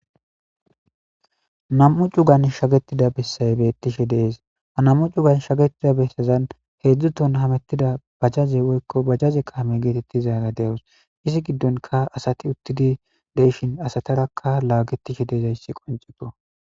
nam'u cugan shagetida bessay beettishe dees ha nam'u cugan shaketida bessezan heedzdzu toon hamettida bajaze woykko bajaze kaame geetettizaara de'awus izi giddonka asati uttidi de'ishin asatarakka laagetishe deezayssi qoncekko